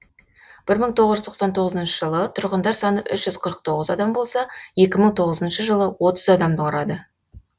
бір мың тоғыз жүз тоқсан тоғызыншы жылы тұрғындар саны үш жүз қырық тоғыз адам болса екі мың тоғызыншы жылы отыз адамды құрады